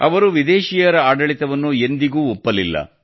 ಅವರು ವಿದೇಶಿಯರ ಆಡಳಿತವನ್ನು ಎಂದಿಗೂ ಒಪ್ಪಲಿಲ್ಲ